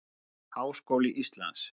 Háskóli Íslands.